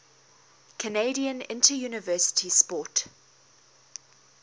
canadian interuniversity sport